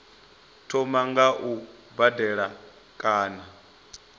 thoma nga u badela kana